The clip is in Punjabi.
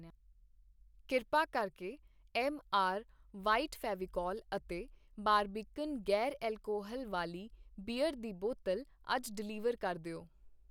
ਕਿਰਪਾ ਕਰਕੇ, ਐੱਮ ਆਰ ਵ੍ਹਾਈਟ ਫ਼ੈਵੀਕੌਲ ਅਤੇ ਬਾਰਬੀਕਨ ਗ਼ੈਰ ਅਲਕੋਹਲ ਵਾਲੀ ਬੀਅਰ ਦੀ ਬੋਤਲ ਅੱਜ ਡਿਲੀਵਰ ਕਰ ਦਿਓ